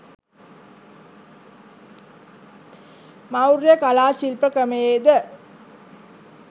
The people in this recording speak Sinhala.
මෞර්ය කලා ශිල්ප ක්‍රමයේද